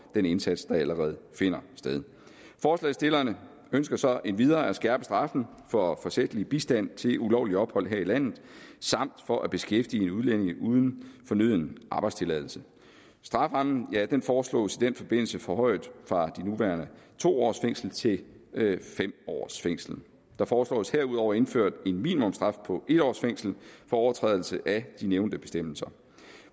den indsats der allerede finder sted forslagsstillerne ønsker så endvidere at skærpe straffen for forsætlig bistand til ulovligt ophold her i landet samt for at beskæftige en udlænding uden fornøden arbejdstilladelse strafferammen foreslås i den forbindelse forhøjet fra de nuværende to års fængsel til fem års fængsel der foreslås herudover indført en minimumsstraf på en års fængsel for overtrædelse af de nævnte bestemmelser